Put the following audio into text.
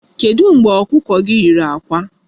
Kedụ mgbe ọkụkọ gị nyere àkwá?